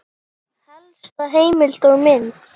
Helsta heimild og mynd